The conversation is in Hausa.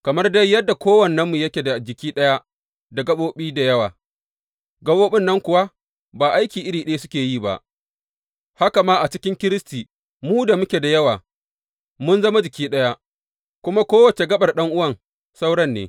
Kamar dai yadda kowannenmu yake da jiki ɗaya da gaɓoɓi da yawa, gaɓoɓin nan kuwa ba aiki iri ɗaya suke yi ba, haka ma a cikin Kiristi mu da muke da yawa mun zama jiki ɗaya, kuma kowace gaɓar ɗan’uwan sauran ne.